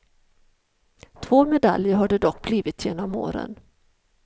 Två medaljer har det dock blivit genom åren.